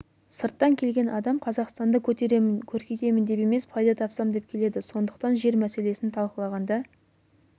сырттан келген адам қазақстанды көтеремін көркейтемін деп емес пайда тапсам деп келеді сондықтан жер мәселесін талқылағанда